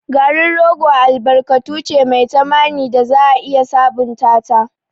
Garin rogo albarkatu ce mai tamani da za a iya sabunta ta.